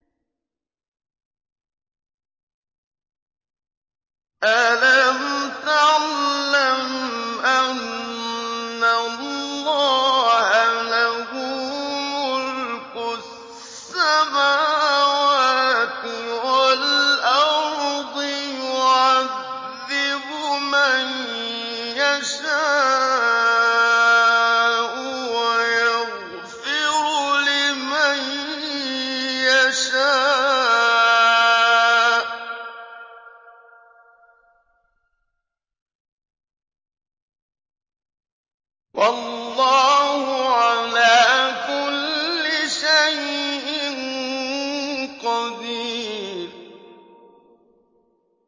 أَلَمْ تَعْلَمْ أَنَّ اللَّهَ لَهُ مُلْكُ السَّمَاوَاتِ وَالْأَرْضِ يُعَذِّبُ مَن يَشَاءُ وَيَغْفِرُ لِمَن يَشَاءُ ۗ وَاللَّهُ عَلَىٰ كُلِّ شَيْءٍ قَدِيرٌ